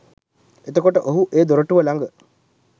එතකොට ඔහු ඒ දොරටුව ළඟ